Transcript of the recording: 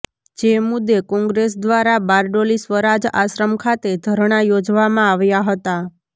જે મુદ્દે કોંગ્રેસ દ્વારા બારડોલી સ્વરાજ આશ્રમ ખાતે ધરણાં યોજવામાં આવ્યા હતા